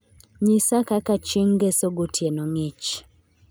Nyisa kaka chieng' Ngeso gotieno ng'ich.